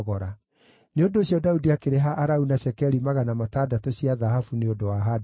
Nĩ ũndũ ũcio Daudi akĩrĩha Arauna cekeri magana matandatũ cia thahabu nĩ ũndũ wa handũ hau.